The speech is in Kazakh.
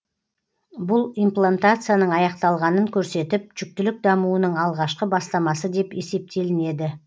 бұл имплантацияның аяқталғанын көрсетіп жүктілік дамуының алғашқы бастамасы деп есептелінеді